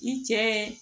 I cɛ